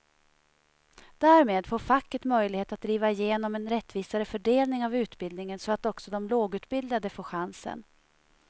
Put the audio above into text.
Därmed får facket möjlighet att driva igenom en rättvisare fördelning av utbildningen så att också de lågutbildade får chansen.